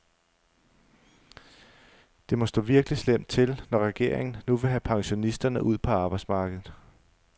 Det må stå virkelig slemt til, når regeringen nu vil have pensionisterne ud på arbejdsmarkedet.